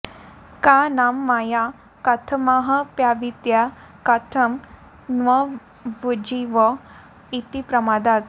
का नाम माया कथमाऽप्यविद्या कथं न्वभूज्जीव इति प्रमादात्